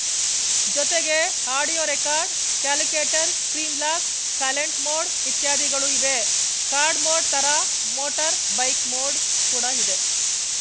ಜೊತೆಗೇ audio record calculator screen lock silent mode ಇತ್ಯಾದಿಗಳು ಇವೆ ಕಾರ್‌ ಮೋಡ್‌ ಥರ ಮೋಟರ್‌ ಬೈಕ್‌ ಮೋಡ್‌ ಕೂಡ ಇದೆ